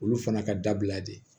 Olu fana ka dabila de